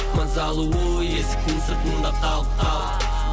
мысалы ой есіктің сыртында қалып қап